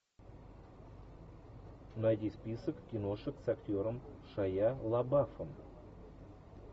найди список киношек с актером шайа лабафом